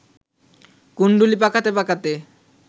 কুণ্ডুলি পাকাতে পাকাতে